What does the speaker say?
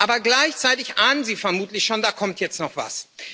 Aber gleichzeitig ahnen Sie vermutlich schon Da kommt jetzt noch etwas.